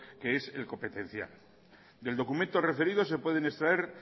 que es el competencial del documento referido se pueden extraer